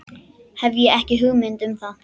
Hef ekki hugmynd um það.